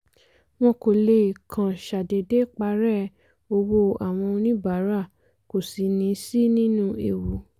wọn kò lè kàn ṣàdédé parẹ́ owó àwọn oníbàárà kò sì ní sí nínú ewu.